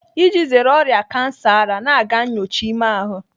Iji zere ọrịa kansa ara, na-aga nnyocha ime ahụ.